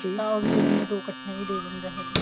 ਤਾਂ ਉਹ ਅਗਲੇ ਮਹੀਨੇ ਦੋ ਇੱਕਠੀਆਂ ਵੀ ਦੇ ਜਾਂਦਾ ਹੈਗਾ